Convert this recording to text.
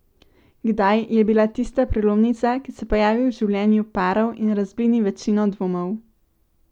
Kdaj je bila tista prelomnica, ki se pojavi v življenju parov in razblini večino dvomov?